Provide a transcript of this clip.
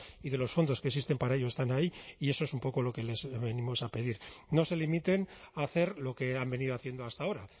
y de los fondos que existen para ello están ahí y eso es un poco lo que les venimos a pedir no se limiten a hacer lo que han venido haciendo hasta ahora